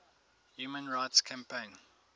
human rights campaign